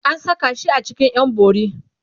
an Saka shi a cikin ƴan bori